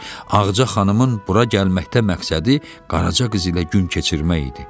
Ağca xanımın bura gəlməkdə məqsədi qaraca qızı ilə gün keçirmək idi.